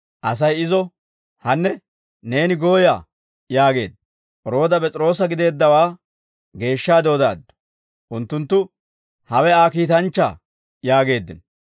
Asay izo, «Hanne, neeni gooyaa» yaageedda. Rooda P'es'iroosa gideeddawaa geeshshaade odaaddu. Unttunttu, «Hewe Aa kiitanchchaa» yaageeddino.